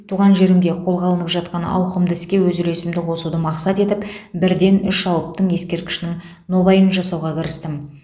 туған жерімде қолға алынып жатқан ауқымды іске өз үлесімді қосуды мақсат етіп бірден үш алыптың ескерткішінің нобайын жасауға кірістім